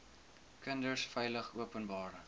kinders veilig openbare